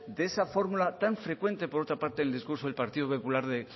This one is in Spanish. de esa fórmula tan frecuente por otra parte en el discurso del partido popular del